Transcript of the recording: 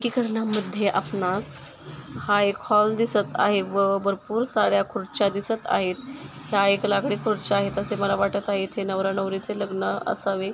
आपणास हा एक हॉल दिसत आहे व भरपूर साऱ्या खुर्च्या दिसत आहेत. ह्या एक लाकडी खूर्च्या आहेत असे मला वाटत आहेत. इथे नवरा नवरीचे लग्न असावे.